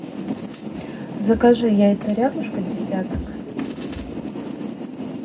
закажи яйца рябушка десяток